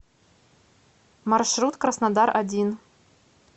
маршрут краснодар один